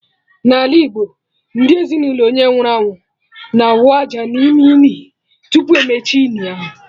N'ala Igbo, ndị ezinụlọ onye nwụrụ anwụ na/awụ aja n'ime ini, tupu emechie ini ahụ